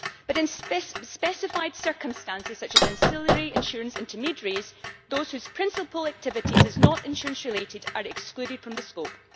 But in specified circumstances, such as ancillary insurance intermediaries, those whose principal activities are not insurance related are excluded from the scope.